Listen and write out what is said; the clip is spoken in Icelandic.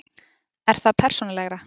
Er það persónulegra?